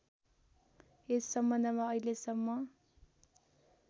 यस सम्बन्धमा अहिलेसम्म